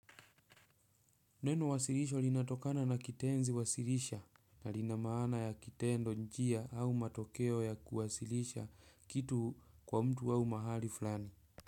Neno wasilisho linatokana na kitenzi wasilisha na linamaana ya kitendo njia au matokeo ya kuwasilisha kitu kwa mtu au mahali fulani.